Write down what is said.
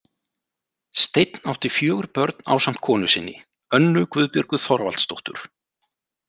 Steinn átti fjögur börn ásamt konu sinni, Önnu Guðbjörgu Þorvaldsdóttur.